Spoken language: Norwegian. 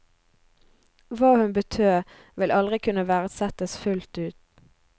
Hva hun betød, vil aldri kunne verdsettes fullt ut.